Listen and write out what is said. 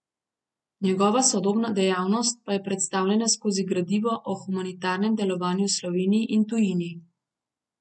Njegova sodobna dejavnost pa je predstavljena skozi gradivo o humanitarnem delovanju v Sloveniji in tujini.